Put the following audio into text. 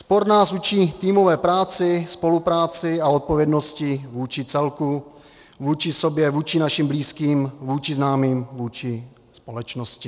Sport nás učí týmové práci, spolupráci a odpovědnosti vůči celku, vůči sobě, vůči našim blízkým, vůči známým, vůči společnosti.